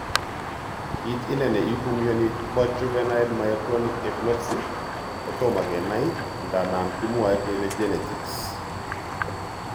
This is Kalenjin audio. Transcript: Kit ine ne ipu mioni po juvenile myoclonic epilepsy kotomo kenai ndandan kimwoe kele genetics.